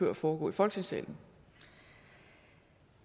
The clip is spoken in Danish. at foregå i folketingssalen